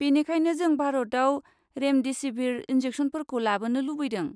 बेनिखायनो, जों भारताव रेमदेसिभिर इन्जेकसनफोरखौ लाबोनो लुबैदों।